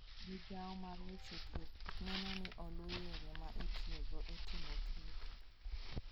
Migawo mar weche thieth neno ni oluw yore ma itiyogo e timo thieth.